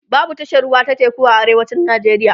babu tashar ruwa ta teku a arewacin nigeria